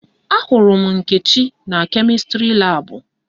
Ahụrụ m Nkechi na kemịstrị laabụ